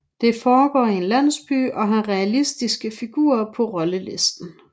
Den foregår i en landsby og har realistiske figurer på rollelisten